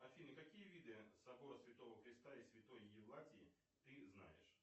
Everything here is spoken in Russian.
афина какие виды собора святого креста и святой евлатии ты знаешь